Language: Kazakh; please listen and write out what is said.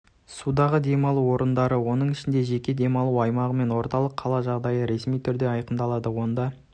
судағы демалу орындары оның ішінде жеке демалу аймағы мен орталық қала жағажайы ресми түрде айқындалды онда